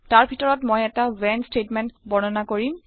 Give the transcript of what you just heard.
তাৰ ভিতৰত মই এটা ৱ্হেন ষ্টেটমেণ্ট বৰ্ণনা কৰিম